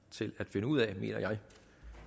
til at finde ud af mener jeg